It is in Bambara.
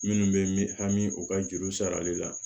Minnu bɛ mi hami u ka juru sarali la